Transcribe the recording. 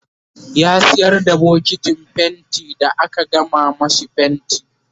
ya sayar da bokitin fainti da aka gama mashi fainti